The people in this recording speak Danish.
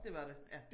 Det var det ja